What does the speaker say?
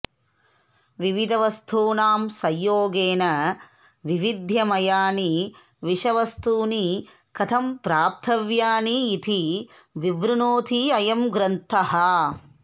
विविधवस्तूनां संयोगेन वैविध्यमयानि विषवस्तूनि कथं प्राप्तव्यानि इति विवृणोति अयं ग्रन्थः